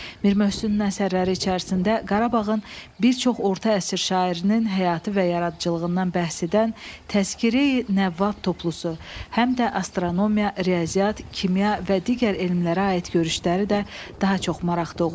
Mir Möhsünun əsərləri içərisində Qarabağın bir çox orta əsr şairinin həyatı və yaradıcılığından bəhs edən Təzkireyi Nəvvab toplusu həm də astronomiya, riyaziyyat, kimya və digər elmlərə aid görüşləri də daha çox maraq doğurur.